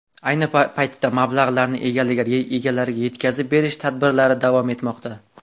Ayni paytda mablag‘larni egalariga yetkazib berish tadbirlari davom etmoqda.